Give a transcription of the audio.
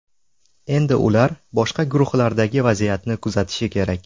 Endi ular boshqa guruhlardagi vaziyatni kuzatishi kerak.